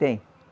Tem.